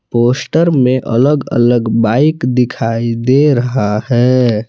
Poster में अलग अलग बाइक दिखाई दे रहा है।